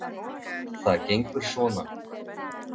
Það gengur svona.